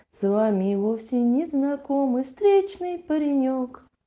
с вами и вовсе незнакомый встречный паренёк